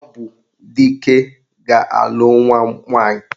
Ọ bụ Dike ga-alụ nwa m nwaanyị